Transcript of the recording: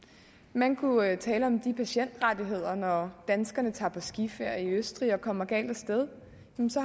man kunne tale om patientrettigheder når danskerne tager på skiferie i østrig og kommer galt af sted